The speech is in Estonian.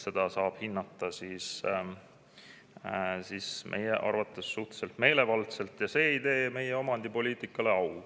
Seda saab siis hinnata meie arvates suhteliselt meelevaldselt ja see ei tee meie omandipoliitikale au.